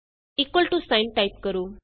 equal to sign type ਕਰੋ